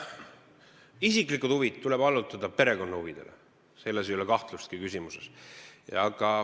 Isiklikud huvid tuleb allutada perekonna huvidele, selles küsimuses ei ole kahtlustki.